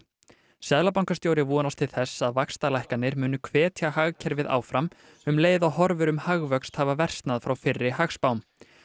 seðlabankastjóri vonast til þess að vaxtalækkanir muni hvetja hagkerfið áfram um leið og horfur um hagvöxt hafa versnað frá fyrri hagspám